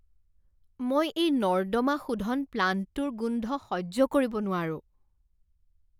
মই এই নৰ্দমা শোধন প্লাণ্টটোৰ গোন্ধ সহ্য কৰিব নোৱাৰো।